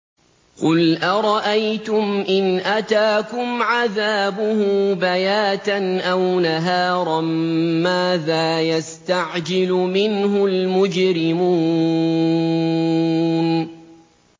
قُلْ أَرَأَيْتُمْ إِنْ أَتَاكُمْ عَذَابُهُ بَيَاتًا أَوْ نَهَارًا مَّاذَا يَسْتَعْجِلُ مِنْهُ الْمُجْرِمُونَ